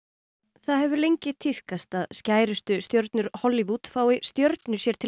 það hefur lengi tíðkast að skærustu stjörnur Hollywood fái stjörnu sér til